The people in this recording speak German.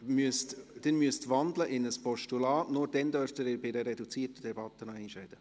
Sie müssten in ein Postulat wandeln, nur dann dürfen Sie in einer reduzierten Debatte noch einmal sprechen.